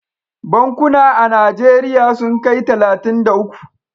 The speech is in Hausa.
Bankuna a najeriya sun kai talatin da uku